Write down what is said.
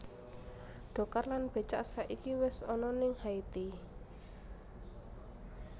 Dokar lan becak saiki wes ana ning Haiti